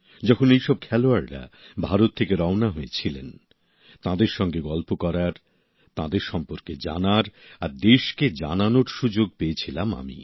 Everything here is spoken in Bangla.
যখন এই সব খেলোয়াড়রা ভারত থেকে রওনা হয়েছিলেন তাঁদের সঙ্গে গল্প করার তাঁদের সম্পর্কে জানার আর দেশকে জানানোর সুযোগ পেয়েছিলাম আমি